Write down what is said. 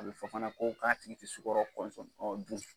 A bɛ fɔ fana ko k'a tigi tɛ sukaro kɔnsɔn dun.